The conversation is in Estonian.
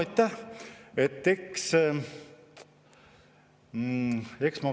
Aitäh!